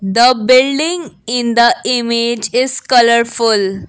the building in the image is colourful.